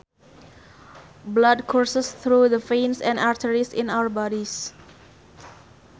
Blood courses through the veins and arteries in our bodies